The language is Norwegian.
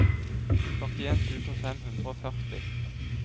førtien tusen fem hundre og førti